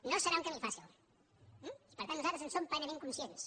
no serà un camí fàcil eh per tant nosaltres en som plenament conscients